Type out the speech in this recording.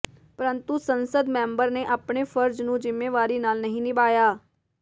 ਪਰੰਤੂ ਸੰਸਦ ਮੈਂਬਰ ਨੇ ਆਪਣੇ ਫਰਜ਼ ਨੂੰ ਜ਼ਿੰਮੇਵਾਰੀ ਨਾਲ ਨਹੀਂ ਨਿਭਾਇਆ